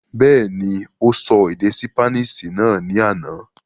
Bẹ́ẹ̀ni, ó sọ èdè ṣípánísì náà ní àná.